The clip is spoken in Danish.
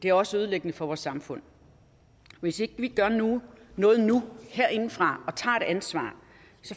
er også ødelæggende for vores samfund hvis ikke vi gør noget noget nu herindefra og tager et ansvar